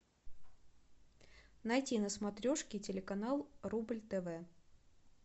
найти на смотрешке телеканал рубль тв